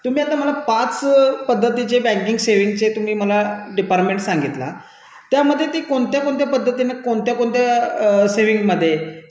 okay madam, तुम्ही आता मला पाच पद्धतीचे बँक बचत विभाग सांगितलं त्यामध्ये ती कोणत्या कोणत्या पद्धतीने कोणत्या कोणत्या बचत खात्यामध्ये